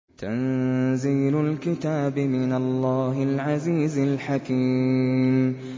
تَنزِيلُ الْكِتَابِ مِنَ اللَّهِ الْعَزِيزِ الْحَكِيمِ